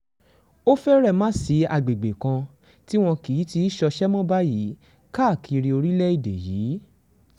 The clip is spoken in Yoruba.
ó fẹ́rẹ̀ má sí àgbègbè tí wọn kì í ti í ṣọṣẹ́ mọ́ báyìí káàkiri orílẹ̀‐èdè yìí